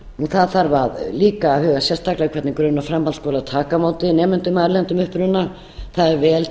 þarf líka að huga sérstaklega að hvernig grunn og framhaldsskólar taka á móti nemendum af erlendum uppruna það er vel